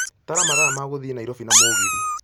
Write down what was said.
tara mathaa ma gũthiĩ Nairobi na mũgithi